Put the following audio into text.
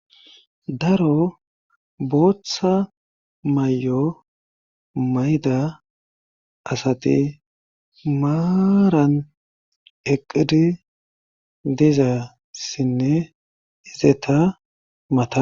daro booththa may7o mayda asati maaran eqqidi diza ssinne izeta mata